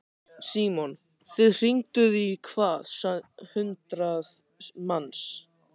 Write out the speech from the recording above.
Símon: Þið hringduð í hvað, hundrað manns?